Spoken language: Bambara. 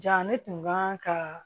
Ja ne tun kan ka